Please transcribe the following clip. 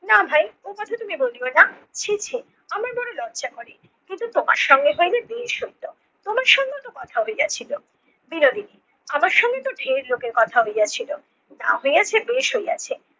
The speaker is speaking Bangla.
না ভাই ও কথা তুমি বলিও না। ছি ছি আমার বড়ো লজ্জা করে। কিন্তু তোমার সঙ্গে হইলে বেশ হইতো, তোমার সঙ্গে তো কথা হইয়াছিল বিনোদিনী আমার সঙ্গে তো ঢের লোকের কথা হইয়াছিল যা হইয়াছে বেশ হইয়াছে